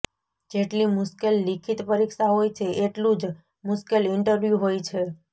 જેટલી મુશ્કેલ લિખિત પરીક્ષા હોય છે એટલું જ મુશ્કેલ ઈન્ટરવ્યૂ હોય છે